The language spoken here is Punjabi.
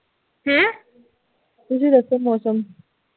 ਤੁਸੀ ਦੱਸੋ ਮੌਸਮ